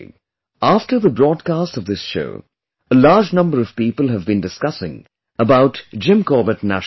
After the broadcast of this show, a large number of people have been discussing about Jim Corbett National Park